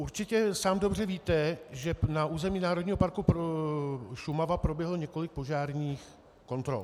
Určitě sám dobře víte, že na území Národního parku Šumava proběhlo několik požárních kontrol.